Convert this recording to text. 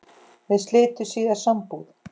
Þau slitu síðar sambúð.